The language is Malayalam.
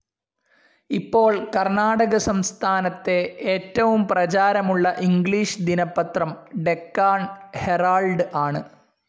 ഇപ്പോൾ കർണാടക സംസ്ഥാനത്തെ ഏറ്റവും പ്രചാരമുള്ള ഇംഗ്ലീഷ് ദിനപത്രം ഡെക്കാൺ ഹെറാൾഡ്‌ ആണ്.